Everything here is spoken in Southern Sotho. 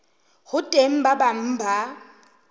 ho teng ba bang ba